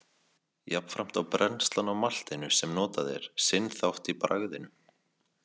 Jafnframt á brennslan á maltinu sem notað er sinn þátt í bragðinu.